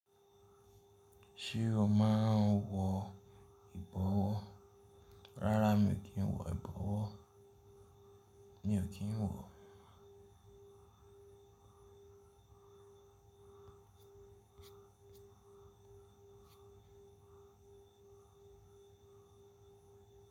Ṣé o máa ń wọ ìbọwọ́? Rárá mi ò kí ń wọ ìbọwọ́. Mi ò kí ń wọ.